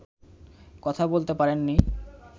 কথা বলতে পারেননি